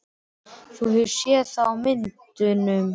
Þú hefur séð það á myndum.